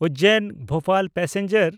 ᱩᱡᱡᱮᱱ–ᱵᱷᱳᱯᱟᱞ passenger